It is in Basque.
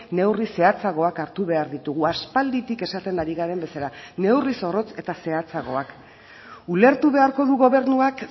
neurri zehatzagoak hartu behar ditugu aspalditik esaten ari garen bezala neurri zorrotz eta zehatzagoak ulertu beharko du gobernuak